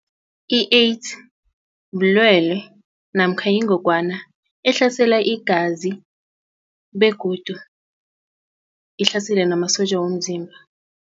I-AIDS bulwele namkha yingogwana ehlasela igazi begodu ihlasela namasotja womzimba.